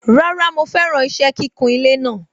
Rárá mo feran ise kíkun ilé naa